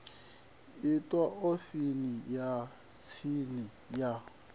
itwa ofisini ya tsini ya